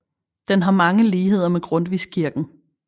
Den har mange ligheder med Grundtvigskirken